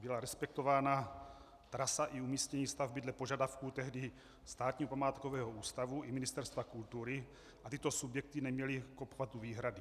Byla respektována trasa i umístění stavby dle požadavků tehdy Státního památkového ústavu i Ministerstva kultury a tyto subjekty neměly k obchvatu výhrady.